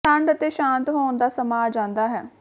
ਠੰਢ ਅਤੇ ਸ਼ਾਂਤ ਹੋਣ ਦਾ ਸਮਾਂ ਆ ਜਾਂਦਾ ਹੈ